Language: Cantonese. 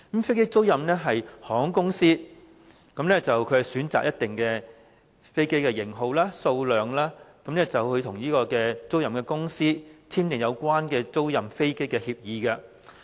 飛機租賃是，航空公司在選擇飛機的型號和數量後，與租賃公司簽訂有關租賃飛機的協議。